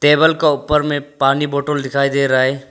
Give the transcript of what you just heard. Table का ऊपर में पानी बोतल दिखाई दे रहा है।